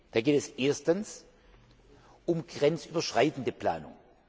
Da geht es erstens um grenzüberschreitende Planung.